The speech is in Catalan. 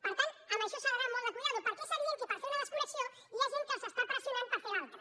per tant amb això s’ha d’anar amb molt de compte perquè és evident que per fer una desconnexió hi ha gent que els està pressionant per fer l’altra